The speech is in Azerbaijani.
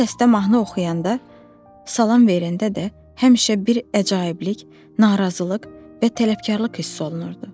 Bu səsdə mahnı oxuyanda, salam verəndə də həmişə bir əcaiblik, narazılıq və tələbkarlıq hissi olunurdu.